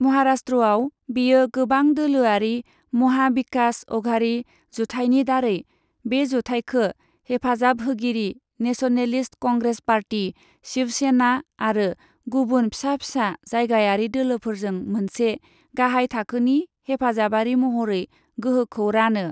महाराष्ट्रआव, बेयो गोबां दोलोआरि महा बिकास अघाड़ी जुथाइनि दारै बे जुथाइखो हेफाजाब होगिरि नेशनेलिस्ट कंग्रेस पार्टी, शिवसेना आरो गुबुन फिसा फिसा जायगायारि दोलोफोरजों मोनसे गाहाय थाखोनि हेफाजाबारि महरै गोहोखौ रानो।